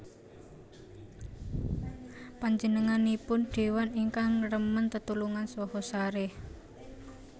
Panjenenganipun déwa ingkang remen tetulungan saha sarèh